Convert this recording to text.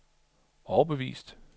overbevist